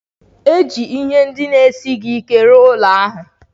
E ji ihe ndị dị ala rụọ ụlọ ahụ.